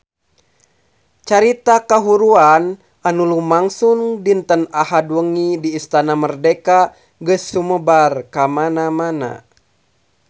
Carita kahuruan anu lumangsung dinten Ahad wengi di Istana Merdeka geus sumebar kamana-mana